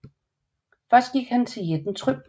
Først gik han til jætten Trym